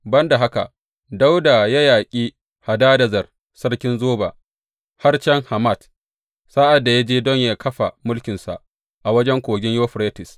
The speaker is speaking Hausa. Ban da haka, Dawuda ya yaƙi Hadadezer sarkin Zoba, har can Hamat, sa’ad da ya je don yă kafa mulkinsa a wajen Kogin Yuferites.